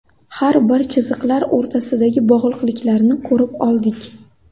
Har bir chiziqlar o‘rtasidagi bog‘liqliklarni ko‘rib oldik.